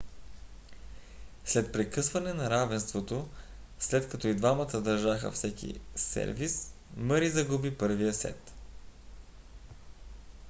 след прекъсване на равенството след като и двамата държаха всеки сервис мъри загуби първия сет